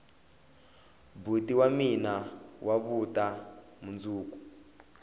boti wa mina wa vuta mundzuku